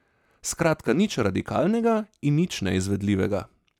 Skratka, nič radikalnega in nič neizvedljivega.